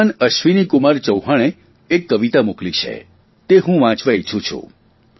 શ્રીમાન અશ્વિનીકુમાર ચૌહાણે એક કવિતા મોકલી છે તે હું વાંચવા ઇચ્છું છું